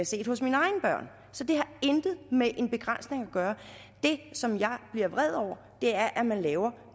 set hos mine egne børn så det har intet med en begrænsning at gøre det som jeg bliver vred over er at man laver